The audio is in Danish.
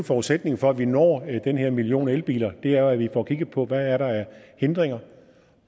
forudsætningen for at vi når den her million elbiler er jo at vi får kigget på hvad der er af hindringer